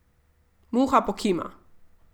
Muha pokima.